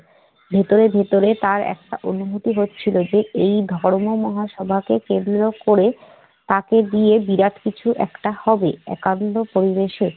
ভেতরে ভেতরে তার একটা অনুভূতি হচ্ছিল যে, এই ধর্ম মহাসভাকে কেন্দ্র করে তাকে দিয়ে বিরাট কিছু একটা হবে একান্ত পরিবেশে।